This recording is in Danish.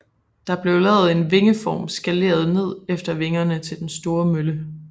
Der blev lavet en vingeform skaleret ned efter vingerne til den store mølle